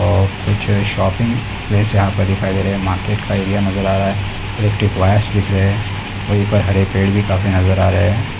और कुछ shopping place यहाँ पे दिखाई दे रहें हैं। मार्केट का एरिया नज़र आ रहा है | इलेक्ट्रिक वायर्स दिख रहें हैं | वही पर हरे पेड़ भी काफी नज़र आ रहें हैं।